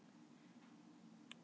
að þessu sögðu